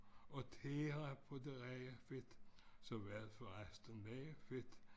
Og tære på det rene fedt som er for resten meget fedt